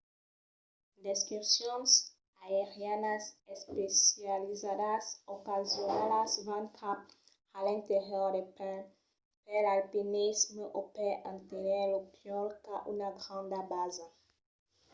d'excursions aerianas especializadas ocasionalas van cap a l'interior del país per l'alpinisme o per aténher lo pòl qu'a una granda basa